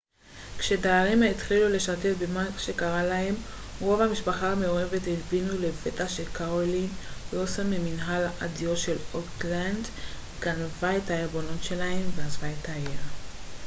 כשהדיירים התחילו לשתף במה שקרה להם רוב המשפחות המעורבות הבינו לפתע שקרולין וילסון מממנהל הדיור של אוקטלנד גנבה את הערבונות שלהם ועזבה את העיר